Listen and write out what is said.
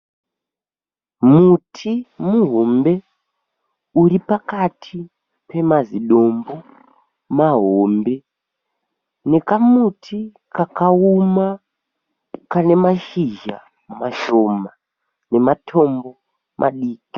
Muti muhombe uri pakati pemazidombo mahombe nekamuti kakaoma kane mashizha mashoma nematombo madiki.